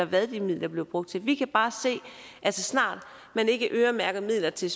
hvad de midler er blevet brugt til vi kan bare se at så snart man ikke øremærker midler til